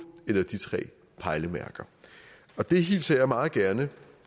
eller de tre pejlemærker og det hilser jeg meget gerne